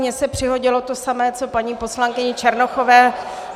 Mně se přihodilo to samé co paní poslankyni Černochové.